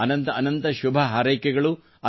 ಅನಂತ ಅನಂತ ಶುಭಹಾರೈಕೆಗಳು